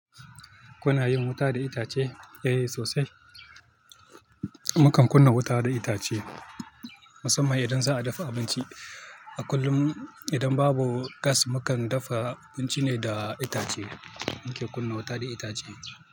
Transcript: Kuna yin wuta da itace? Eh sosai. Mukan kunna wuta da itace musamman idan za a dafa abinci. A kullum idan babu gas, mukan dafa abinci ne da itace. Mun ke kunna wuta da itace.